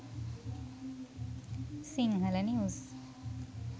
sinhala news